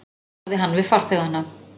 sagði hann við farþegana.